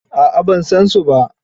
A'a ban san su ba.